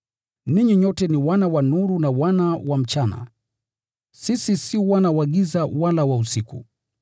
Ninyi nyote ni wana wa nuru na wana wa mchana. Sisi si wana wa giza wala wa usiku.